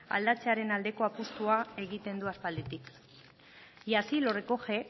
aldatzearen aldeko apustua egiten du aspalditik y así lo recoge